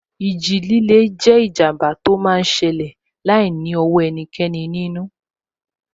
Ìjì líle jẹ́ ìjàmbá tó máa n ṣẹlẹ̀ láìní ọwọ́ ẹnikẹ́ni nínú